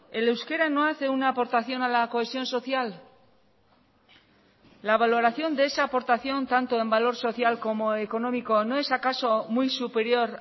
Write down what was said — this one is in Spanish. el euskera no hace una aportación a la cohesión social la valoración de esa aportación tanto en valor social como económico no es acaso muy superior